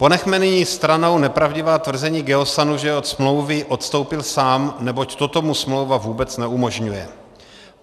Ponechme nyní stranou nepravdivá tvrzení Geosanu, že od smlouvy odstoupil sám, neboť toto mu smlouva vůbec neumožňuje.